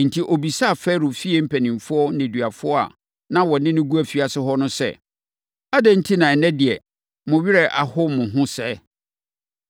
Enti, ɔbisaa Farao fie mpanimfoɔ nneduafoɔ a na wɔne no gu afiase hɔ no sɛ, “Adɛn enti na ɛnnɛ deɛ, mo werɛ aho mo ho sɛɛ?”